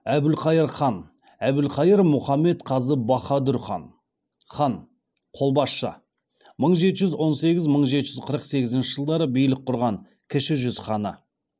әбілқайыр хан әбілқайыр мұхаммед қазы баһадүр хан хан қолбасшы мың жеті жүз он сегіз мың жеті жүз қырық сегізінші жылдары билік құрған кіші жүз ханы